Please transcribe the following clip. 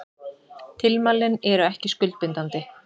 Tilmælin eru ekki skuldbindandi